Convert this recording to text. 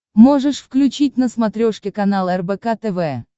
можешь включить на смотрешке канал рбк тв